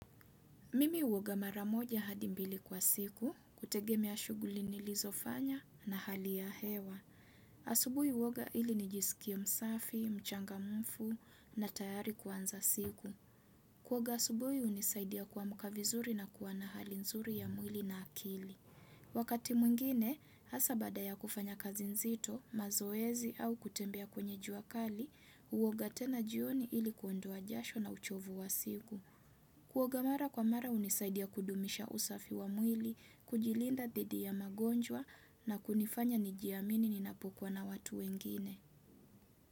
Mimi huoga mara moja hadi mbili kwa siku, kutegemea shughuli nilizofanya na hali ya hewa. Asubuhi huoga ili nijisikie msafi, mchangamfu na tayari kuanza siku. Kuoga asubuhi hunisaidia kuamka vizuri na kuwa na hali nzuri ya mwili na akili. Wakati mwingine, hasa baada ya kufanya kazi nzito, mazoezi au kutembea kwenye jua kali, huoga tena jioni ili kuondoa jasho na uchovu wa siku. Kuoga mara kwa mara hunisaidia kudumisha usafi wa mwili, kujilinda dhidi ya magonjwa na kunifanya nijiamini ninapokuwa na watu wengine.